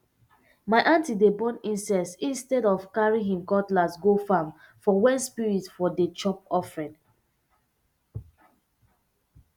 my aunty dey burn incense instead of carry im cutlass go farm for when spirit for dey chop offering